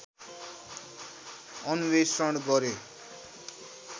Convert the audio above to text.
अन्वेषण गरे